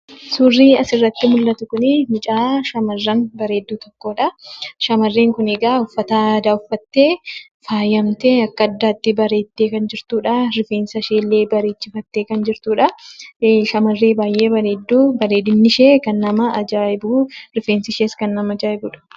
Suurrii asirratti mul'atu kun, mucaa shamarran bareedduu, tokkodha. Shamarreen kunikaa, uffata aadaa uffattee, faayamtee, akka addaatti bareeddee kan jirtudha. Rifeensasheellee bareechisiifattee kan jirtudha. Shamarree baayyee bareeddu, bareedinnishee kan nama ajaa'ibu, rifeensishees kan nama ajaa'ibudha.